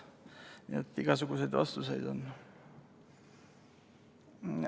Nii et igasuguseid vastuseid on.